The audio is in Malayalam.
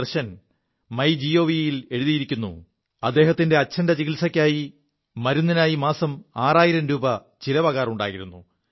ദർശൻ മൈ ജിഒവി യിൽ എഴുതിയിരിക്കുു അദ്ദേഹത്തിന് അച്ഛന്റെ ചികിത്സക്കുള്ള മരുിനായി മാസം ആറായിരം രൂപ ചിലവാകാറുണ്ടായിരുു